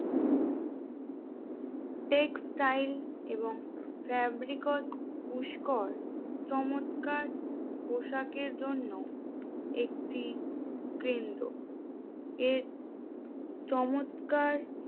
textile এবং ফেব্রিক্সে পুস্কর চমৎকার পোশাকের জন্য একটি কেন্দ্র এর চমৎকার